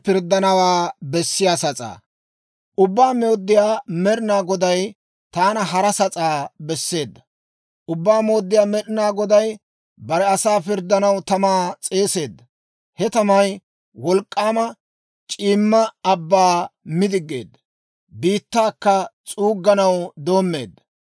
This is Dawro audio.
Ubbaa Mooddiyaa Med'inaa Goday taana hara sas'aa besseedda. Ubbaa Mooddiyaa Med'inaa Goday bare asaa pirddanaw tamaa s'eeseedda; he tamay wolk'k'aama c'iimma abbaa mi diggiide, biittaakka s'uugganaw doommeedda.